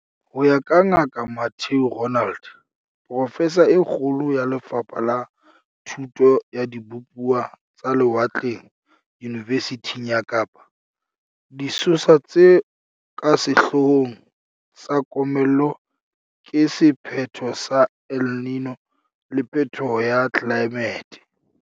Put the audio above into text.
Ho ya ka Ngaka Mathieu Roualt, profesa e kgolo ya Le fapha la Thuto ya Dibupuwa tsa Lewatleng Yunivesithing ya Kapa, disosa tse ka sehloo hong tsa komello ke sephetho sa El Niño le phethoho ya tlelaemete.